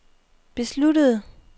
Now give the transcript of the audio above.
besluttede